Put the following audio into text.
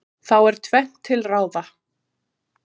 þá er tvennt til ráða